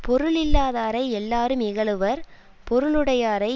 பொருளில்லாதாரை எல்லாரும் இகழுவர் பொருளுடையாரை